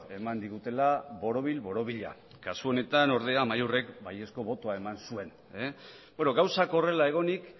eman digutela borobil borobila kasu honetan ordea amaiurrek baiezko botoa eman zuen gauzak horrela egonik